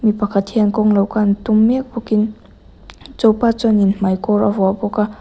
mi pakhat hian kawng lo kan tum mek bawk in chu pa chuan in hmaikawr a vuah bawk a.